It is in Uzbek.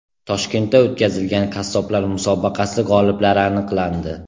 Toshkentda o‘tkazilgan qassoblar musobaqasi g‘oliblari aniqlandi.